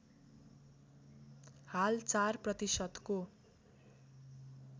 हाल ४ प्रतिशतको